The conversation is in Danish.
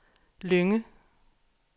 Lynge